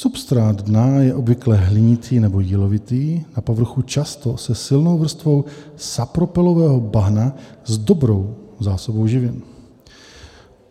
Substrát dna je obvykle hlinitý nebo jílovitý, na povrchu často se silnou vrstvou sapropelového bahna a dobrou zásobou živin.